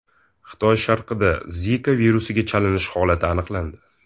Xitoy sharqida Zika virusiga chalinish holati aniqlandi.